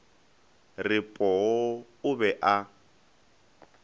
re poo o be a